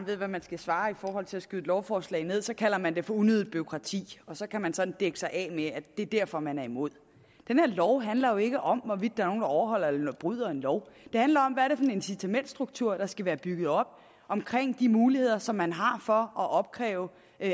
ved hvad man skal svare for at skyde et lovforslag ned så kalder man det for unødigt bureaukrati og så kan man sådan dække sig af med at det er derfor man er imod den her lov handler jo ikke om hvorvidt der overholder eller bryder en lov det handler om hvad en incitamentsstruktur der skal være bygget op om de muligheder som man har for at opkræve